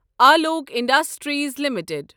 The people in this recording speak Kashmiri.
Alok industries limited